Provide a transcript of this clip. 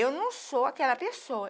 Eu não sou aquela pessoa.